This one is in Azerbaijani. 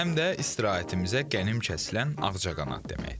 Həm də istirahətimizə qənim kəsilən ağcaqanad deməkdir.